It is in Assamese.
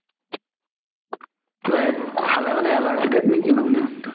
খালে মানে allergy type নে কি